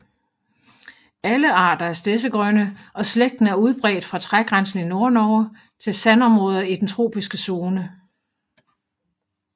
Alle arter er stedsegrønne og slægten er udbredt fra trægrænsen i Nordnorge til sandområder i den tropiske zone